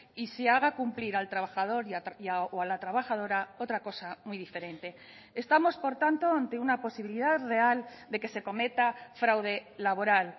y se haga cumplir al trabajador o a la trabajadora otra cosa muy diferente estamos por tanto ante una posibilidad real de que se cometa fraude laboral